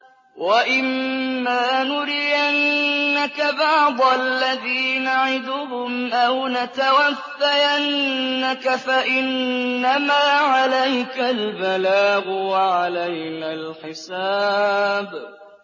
وَإِن مَّا نُرِيَنَّكَ بَعْضَ الَّذِي نَعِدُهُمْ أَوْ نَتَوَفَّيَنَّكَ فَإِنَّمَا عَلَيْكَ الْبَلَاغُ وَعَلَيْنَا الْحِسَابُ